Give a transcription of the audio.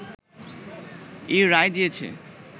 এই রায় দিয়েছে